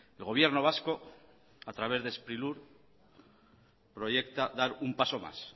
el gobierno vasco a través de sprilur proyecta dar un paso más